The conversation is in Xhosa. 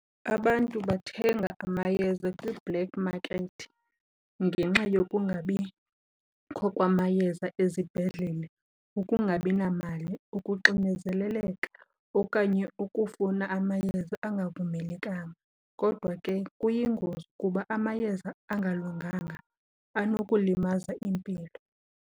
Abantu bathenga amayeza kwi-black market ngenxa yokungabikho kwamayeza ezibhedlele, ukungabi namali, ukuxinezeleleka okanye ukufuna amayeza angavumelekanga. Kodwa ke kuyingozi kuba amayeza angalunganga anokulimaza impilo.